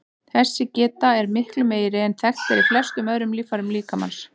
Þessi geta er miklu meiri en þekkt er í flestum öðrum líffærum líkamans.